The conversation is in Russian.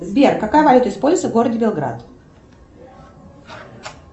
сбер какая валюта используется в городе белград